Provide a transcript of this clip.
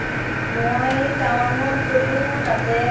মই টাৱাংত গ'লো তাতে